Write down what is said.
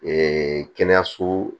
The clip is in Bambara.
kɛnɛyaso